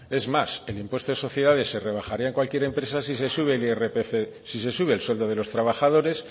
es más el impuesto de sociedades se rebajaría en cualquier empresa sí se sube el irpf si se sube el sueldo de los trabajadores